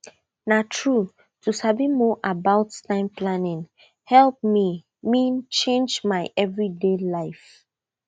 na true to sabi more about time planning help mei meanchange my every day life